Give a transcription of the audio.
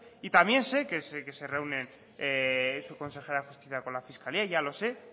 y también sé que se reúnen su consejera de justicia con la fiscalía ya lo sé